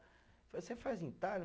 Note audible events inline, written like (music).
(unintelligible) você faz entalho?